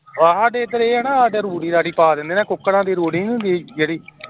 ਆਹ ਸਾਡੇ ਏਧਰ ਏ ਐ, ਸਾਡੇ ਰੂੜੀ ਰਾੜੀ ਪਾ ਦੇਂਦੇ ਏ ਕੁਕੜਾਂ ਦੀ ਰੂੜੀ ਨਹੀਂ ਹੁੰਦੀ ਜਿਹੜੀ